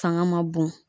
Fanga ma bon